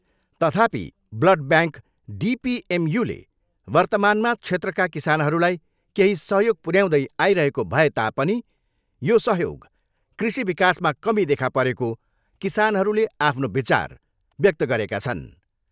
तथापि blood bank डिपिएमयूले वर्तमानमा क्षेत्रका किसानहरूलाई केही सहयोग पुर्याउँदै आइरहेको भए तापनि यो सहयोग कृषि विकासमा कमी देखा परेको किसानहरूले आफ्नो विचार व्यक्त गरेका छन्।